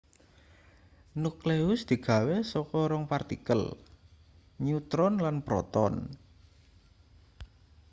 nukleus digawe saka rong partikel nutron lan proton